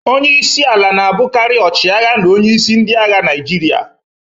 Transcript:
Onye isi ala na-abụkarị ọchịagha na onyeisi ndị agha Naịjirịa.